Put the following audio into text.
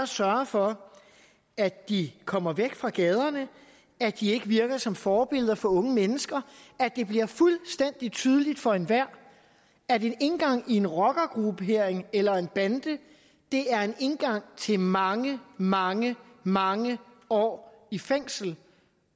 sørge for at de kommer væk fra gaderne at de ikke virker som forbilleder for unge mennesker at det bliver fuldstændig tydeligt for enhver at en indgang i en rockergruppe eller en bande er en indgang til mange mange mange år i fængsel